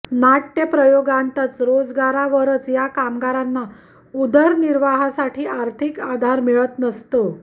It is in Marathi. नाट्यप्रयोगानंतच रोजगारावरच या कामगारांना उदरनिर्वाहासाठी आर्थिक आधार मिळत नसतो